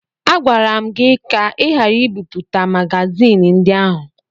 Agwara m gị ka ị ghara ibipụta magazin ndị ahụ!